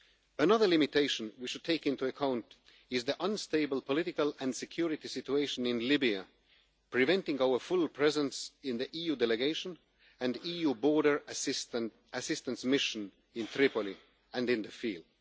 Another limitation we should take into account is the unstable political and security situation in Libya, preventing our full presence in the EU delegation and EU Border Assistance Mission in Tripoli and in the field.